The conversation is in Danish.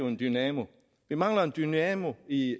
en dynamo og vi mangler en dynamo i